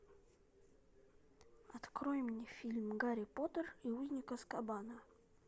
открой мне фильм гарри поттер и узник азкабана